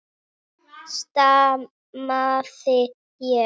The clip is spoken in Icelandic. stamaði ég.